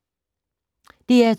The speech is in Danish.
DR2